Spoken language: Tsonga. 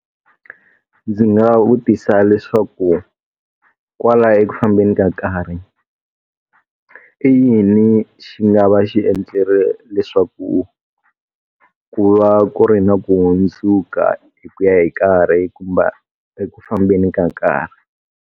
Ndzi nga vutisa leswaku, kwala eku fambeni ka nkarhi, i yini xi nga va xi endlile leswaku ku va ku ri na ku hundzuka hi ku ya hi nkarhi kumbe eku fambeni ka nkarhi.